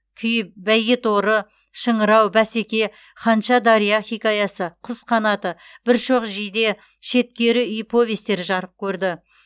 күй бәйгеторы шыңырау бәсеке ханша дария хикаясы құс қанаты бір шоқ жиде шеткері үй повестері жарық көрді